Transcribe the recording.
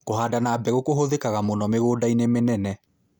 Kũhanda na mbegũ kũhũthĩkaga mũno mĩgũndainĩ mĩnene.